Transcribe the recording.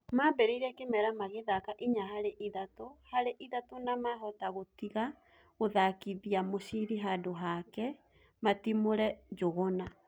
Maambĩrĩirie kimera magĩthaka inya harĩ ithatũ harĩ ithatũ na mahota gũtiga gũthakithia mũciri handũ hakĩ matumũre Njuguna